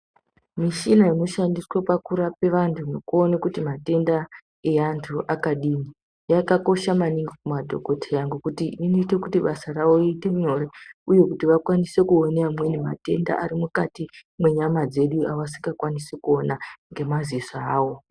Mishina inoshandiswa pakurape antu nekuona kuti matenda evantu akadini yakakosha maningi kumadhokodheya ngekuti inoite kuti basa ravo riite nyore uye kuti vakwanise kuona amweni matenda ari mukati mwenyama dzedu avasingakwanisi kuona ngemadziso avo.